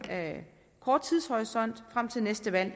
kort tidshorisont frem til næste valg